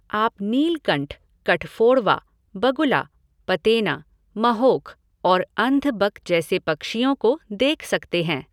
आप नीलकंठ, कठफोड़वा, बगुला, पतेना, महोख और अन्धबक जैसे पक्षियों को देख सकते हैं।